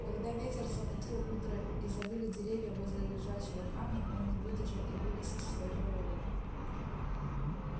когда ветер замутил утро и завыли деревья возле лежачего камня он не выдержал и вылез из своего логова